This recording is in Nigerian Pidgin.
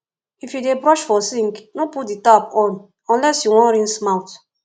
if yu dey brush for sink no put di tap on unless you wan rinse mouth